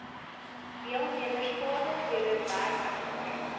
deelnemers vaardighede werkservaring